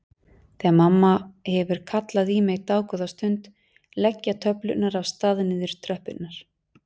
Þegar mamma hefur kallað í mig dágóða stund leggja töflurnar af stað niður tröppurnar.